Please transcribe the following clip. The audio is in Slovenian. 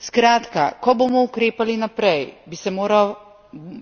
Skratka, ko bomo ukrepali naprej, bi se moral